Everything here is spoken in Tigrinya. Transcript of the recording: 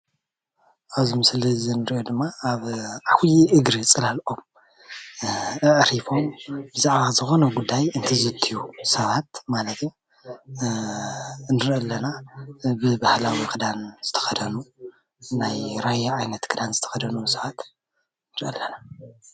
ኣብዚ ምስሊ እዚ እንሪኦ ድማ ኣብ ዓብይ እግሪ ፅላል ኦም ኣዕሪፎም ብዛዕባ ዝኮነ ጉዳይ እንትዝትዩ ሰባት ማለት እዩ ንርኢ ኣለና፡፡ ብባህላዊ ክዳን ዝተከደኑ ናይ ራያ ዓይነት ክዳን ዝተከደኑ ቡዙሓት ንርኢ ኣለና፡፡